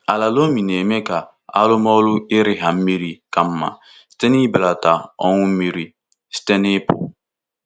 Ala di loamy na-eme ka arụmọrụ irigha mmiri ka mma site n'ibelata ọnwụ mmiri site n'ịpụ.